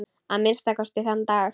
Að minnsta kosti þann dag.